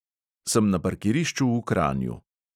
Sem na parkirišču v kranju.